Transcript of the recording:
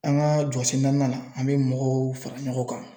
An ka jɔsen naaninan na an mɛ mɔgɔw fara ɲɔgɔn kan.